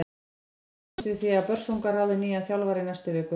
Búist er við því að Börsungar ráði nýjan þjálfara í næstu viku.